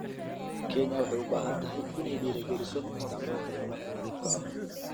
Kenya waxay u baahan tahay inay dhiirigeliso isticmaalka tamarta nadiifka ah.